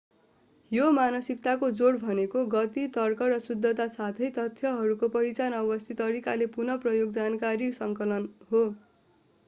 यो मानसिकताको जोड भनेको गति तर्क र शुद्धता साथै तथ्यहरूको पहिचान अवस्थित तरिकाहरूको पुनः प्रयोग जानकारी सङ्कलन हो